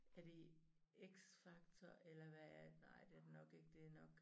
Er det i X Factor eller hvad er ej det er det nok ikke det nok